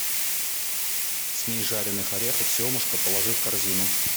смесь жареных орехов семушка положи в корзину